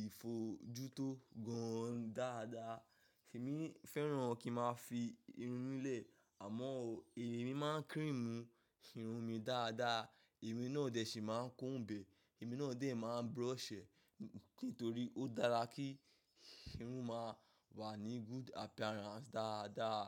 ìfojútó gan dáadáa. Ṣèmi fẹ́ràn kí n máa fi irun mí lẹ́ẹ̀ àmọ́ èmi máa ń cream irun mi dáadáa, èmi náà dè sí máa ń kó ǹbẹ̀, èmi náà dè máa ń brush ẹ́ nítorí ó dára kí irun máa wà ní good appearance dáadáa.